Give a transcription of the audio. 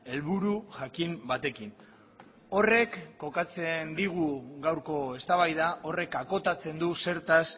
helburu jakin batekin horrek kokatzen digu gaurko eztabaida horrek akotatzen du zertaz